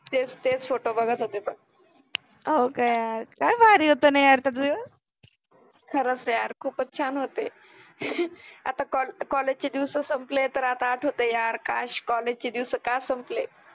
तेच तेच फोटो बघत पन, हो का यार, काय भारि होते न यार ते दिवस , खरच यार खुपच छान होते. आता कॉलेज चे दिवस सम्पले तर आता आठवते यार काश काय कॉलेज चे दिवस का संपले.